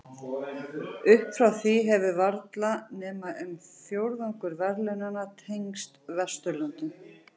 Upp frá því hefur varla nema um fjórðungur verðlaunanna tengst Vesturlöndum.